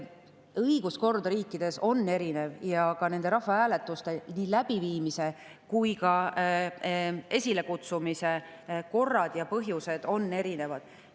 Õiguskorrad riikides on erinevad ja nii rahvahääletuste läbiviimise kui ka esilekutsumise korrad ja põhjused on erinevad.